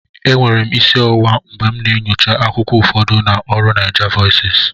Enwere m isi ọwụwa mgbe m na-enyocha akwụkwọ ụfọdụ na ọrụ NaijaVoices